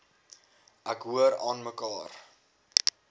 ek hoor aanmekaar